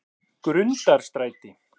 Grundarstræti